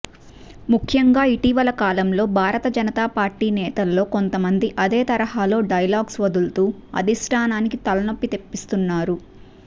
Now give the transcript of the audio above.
ముఖ్యంగా ఇటీవల కాలంలో భారత జనతా పార్టీ నేతల్లో కొంతమంది అదే తరహాలో డైలాగ్స్ వదులుతూ అధిష్టానానికి తలనొప్పి తెప్పిస్తున్నారు